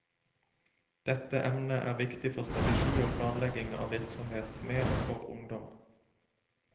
Dette emnet er viktig for strategi og planlegging av virksomhet med og for ungdom.